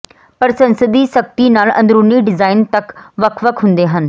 ਪਰ ਸੰਸਦੀ ਸਖ਼ਤੀ ਨਾਲ ਅੰਦਰੂਨੀ ਡਿਜ਼ਾਇਨ ਤੱਕ ਵੱਖ ਵੱਖ ਹੁੰਦੇ ਹਨ